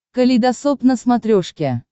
калейдосоп на смотрешке